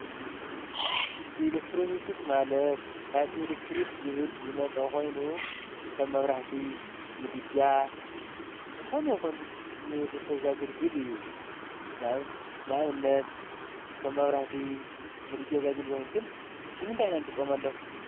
ኤሌክትሮንክስ ማለት ካብ ኤሌክትሪክ ዝብል ዝመጸ ኾይኑ ከም መብራህቲ፣ ምድጃ ዝኾኑ ይኹን ንወድ ሰብ ዘግልግል እዩ። ንእብነት ከም መብራህቲ፣ ምድጃ ዘግልግሉ ግን ንምንታይ ኢና ንጥቀመሎም?